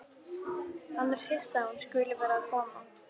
Hann er hissa að hún skuli vera að koma.